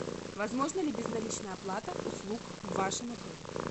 возможна ли безналичная оплата услуг в вашем отеле